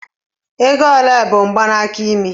Ego ole bụ mgbanaka imi?